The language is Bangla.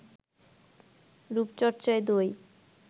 রূপচর্চায় দই